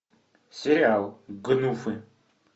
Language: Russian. сериал гнуфы